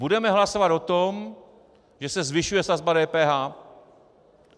Budeme hlasovat o tom, že se zvyšuje sazba DPH.